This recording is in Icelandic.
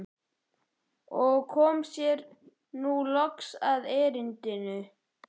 Og kom sér nú loks að erindinu.